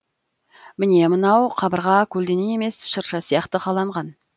міне мынау қабырға көлденең емес шырша сияқты қаланған